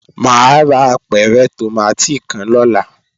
Mà á ra apẹ̀rẹ̀ tòmátì kan lọ́la